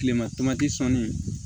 Tilema sɔɔni